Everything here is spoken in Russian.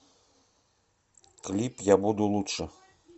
клип я буду лучше